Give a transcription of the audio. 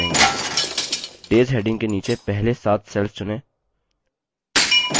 days heading के नीचे पहले सात cells चुनें